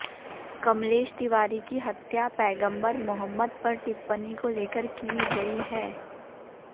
कमलेश तिवारी की हत्या पैगम्बर मुहम्मद पर टिप्पणी को लेकर की गई है